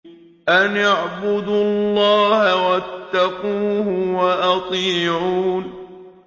أَنِ اعْبُدُوا اللَّهَ وَاتَّقُوهُ وَأَطِيعُونِ